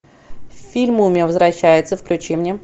фильм мумия возвращается включи мне